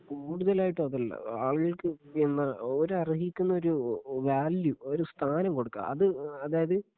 കൂടുതലായിട്ടും അതല്ല ആളുകൾക്ക് പിന്നെ ഓര് അർഹിക്കുന്ന ഒരു വാല്യൂ ഒരു സ്ഥാനം കൊടുക്കുവാ അത് അതായത്